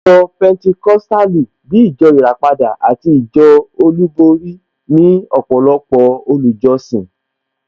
Ìjọ Pẹnticọ́sítàlì, bíi ìjọ ìràpadà àti ìjọ olúborí ní ọ̀pọ̀lọpọ̀ olùjọ́sìn